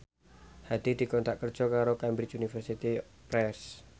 Hadi dikontrak kerja karo Cambridge Universiy Press